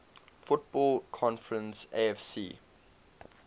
football conference afc